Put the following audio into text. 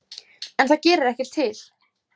En það gerir ekkert til.